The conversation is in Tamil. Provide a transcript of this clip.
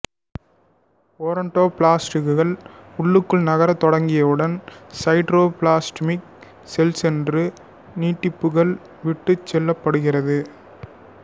ஓடோன்டோபிளாஸ்டுகள் உள்ளுக்குள் நகரத் தொடங்கியவுடன் சைடோபிளாஸ்மிக் செல்சோறு நீட்டிப்புகள் விட்டுச் செல்லப்படுகிறது